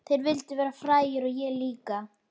Þeir vildu verða frægir og ég líka.